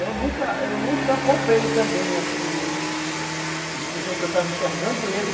E eu nunca, eu nunca poupei também, assim, de dizer que eu estava enxergando o erro,